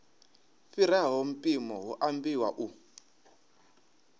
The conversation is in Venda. fhiraho mpimo hu ambiwa u